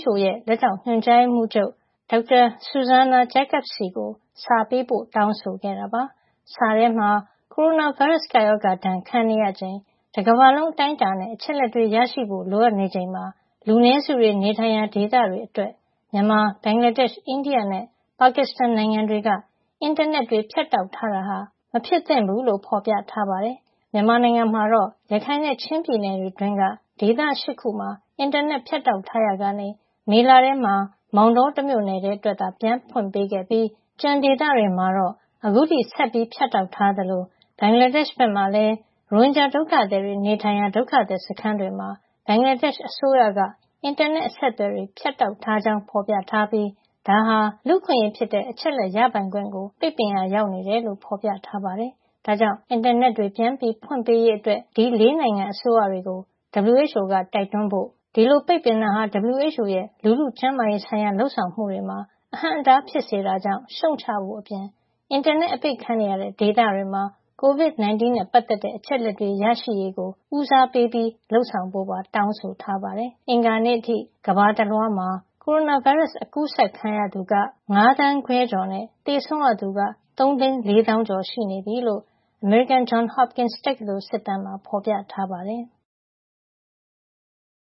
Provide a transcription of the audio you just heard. WHO ရဲ့ လက်ထောက်ညွှန်ကြားရေးမှူးချုပ် Dr. Zsuzsanna Jakab ဆီကို စာပေးပို့ တောင်းဆိုခဲ့တာပါ။ စာထဲမှာ ကိုရိုနာဗိုင်းရပ်စ် ကပ်ရောဂါဒဏ်ခံနေရချိန် တကမ္ဘာလုံး အတိုင်းအတာနဲ့ အချက်အလက်တွေ ရရှိဖို့လိုအပ်နေချိန်မှာ လူနည်းစု တွေ နေထိုင်ရာ ဒေသတွေအတွက် မြန်မာ၊ ဘင်္ဂလာားဒေ့ရှ်၊ အိန္ဒိယနဲ့ ပါကစ္စတန်နိုင်ငံအစိုးရ တွေက အင်တာနက်တွေ ဖြတ်တောက်ထားတာဟာ မဖြစ်သင့်ဘူးလို့ ဖေါ်ပြထားပါတယ်။ မြန်မာနိုင်ငံမှာတော့ ရခိုင်နဲ့ ချင်းပြည်နယ်တွင်းက ဒေသ ၈ ခုမှာ အင်တာနက်ဖြတ်တောက်ထားရာ ကနေ မေလ ထဲမှာ မောင်တော တမြို့နယ်ထဲ အတွက်သာ ပြန်ဖွင့်ပေးခဲ့ပြီး ကျန်ဒေသတွေမှာ အခုထိ ဆက်လက် ဖြတ်တောက် ထားသလို ဘင်္ဂလားဒေ့ရှ်ဘက်မှာ လည်း ရိုဟင်ဂျာ ဒုက္ခသည်တွေ နေထိုင်ရာ ဒုက္ခသည် စခန်းတွေမှာ ဘင်္ဂလားဒေ့ရှ် အစိုးရက အင်တာနက်အဆက်အသွယ်တွေ ဖြတ်တောက်ထားကြောင်းဖေါ်ပြထားပြီး ဒါဟာ လူ့အခွင့်ရေးဖြစ်တဲ့ အချက်အလက် ရပိုင်ခွင့် ကို ပိတ်ပင်ရာရောက်နေတယ်လို့ ဖေါ်ပြထားပါတယ်။ ဒါ့ကြောင့် အင်တာနက်ပြန်ဖွင့်ပေးရေးအတွက် ဒီ ၄ နိုင်ငံ အစိုးရတွေကို WHO က တိုက်တွန်းဖို့၊ ဒီလို ပိတ်ပင်တာဟာ WHO ရဲ့ လူထုကျန်းမာရေး ဆိုင်ရာ လုပ်ဆောင်မှုတွေမှာ အဟန့်အတား ဖြစ်စေတာကြောင့် ရှုံ့ချဖို့အပြင် အင်တာနက် အပိတ်ခံနေရတဲ ဒေသတွေမှာ COVID-19 နဲ့ပတ်သက်တဲ့ အချက်လက်တွေ ရရှိရေးကို ဦးစားပေး လုပ်ဆောင်ဖို့ပါ တောင်းဆိုထားပါတယ်။ အင်္ဂါနေ့အထိ ကမ္ဘာတလွှား ကိုရိုနာဗိုင်းရပ်စ် အကူးစက်ခံရသူက ၅ သန်းခွဲ ကျော် (၅ ၅၅၀ ၃၉ ၉) နဲ့ သေဆုံးရသူက ၃ သိန်း ၄ သောင်းကျော် (၃၄၈ ၃၀၂) ရှိနေပြီလို့ အမေရိကန် Johns Hopkins တက္ကသိုလ် စစ်တမ်းမှာ ဖေါ်ပြထားပါတယ်။